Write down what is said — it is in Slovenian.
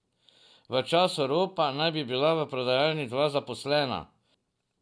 V času ropa naj bi bila v prodajalni dva zaposlena.